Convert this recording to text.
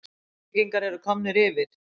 KEFLVÍKINGAR ERU KOMNIR YFIR!!!